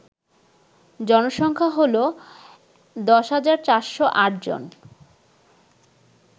জনসংখ্যা হল ১০৪০৮ জন